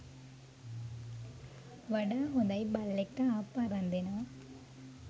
වඩා හොඳයි බල්ලෙක්ට ආප්ප අරන් දෙනවා